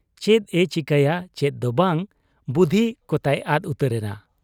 ᱪᱮᱫ ᱮ ᱪᱤᱠᱟᱹᱭᱟ ᱪᱮᱫ ᱫᱚ ᱵᱟᱝ, ᱵᱩᱫᱷᱤ ᱠᱚᱛᱟᱭ ᱟᱫ ᱩᱛᱟᱹᱨᱮᱱᱟ ᱾